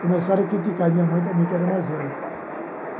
Começaram a criticar minha mãe também, que era mais velha.